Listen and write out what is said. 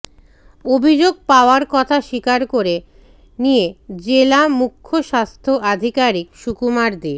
অভিযোগ পাওয়ার কথা স্বীকার করে নিয়ে জেলা মুখ্য স্বাস্থ্য আধিকারিক সুকুমার দে